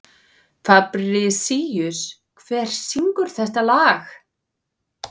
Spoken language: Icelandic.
Fabrisíus, hver syngur þetta lag?